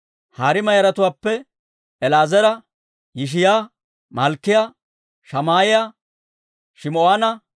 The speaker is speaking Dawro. Hariima yaratuwaappe El"eezera, Yishiyaa, Malkkiyaa, Shamaa'iyaa, Shim"oona,